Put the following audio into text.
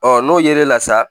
n'o yera la sa